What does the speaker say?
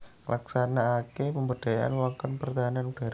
Nglaksanakaké pemberdayaan wewengkon pertahanan udhara